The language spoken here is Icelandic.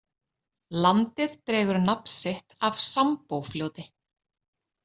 Landið dregur nafn sitt af Sambófljóti.